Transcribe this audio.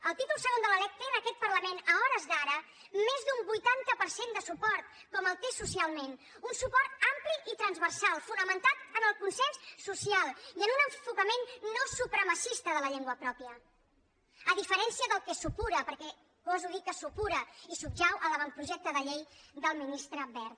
el títol segon de la lec té en aquest parlament a hores d’ara més d’un vuitanta per cent de suport com el té socialment un suport ampli i transversal fonamentat en el consens social i en un enfocament no supremacista de la llengua pròpia a diferència del que supura perquè goso dir que supura i subjeu a l’avantprojecte de llei del ministre wert